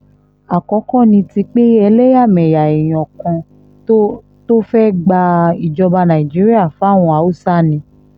àkọ́kọ́ ní ti pé ẹlẹ́yàmẹ̀yà èèyàn kan tó tó fẹ́ẹ́ gba ìjọba nàìjíríà fáwọn haúsá ni